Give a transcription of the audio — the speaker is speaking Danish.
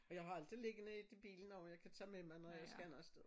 Og jeg har altid ligget ned et til bilen også jeg kan tage med mig når jeg skal noget sted